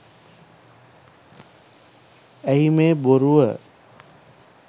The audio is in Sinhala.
ඇයි මේ බොරුව